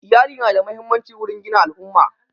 Iyali na da muhimmanci wurin gina al'umma